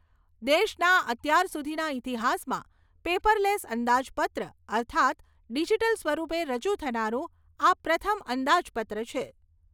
દેશના અત્યારસુધીનાં ઈતિહાસમા પેપરલેસ અંદાજપત્ર અર્થાત ડિજીટલ સ્વરૂપે રજૂ થનારું આ પ્રથમ અંદાજપત્ર છે.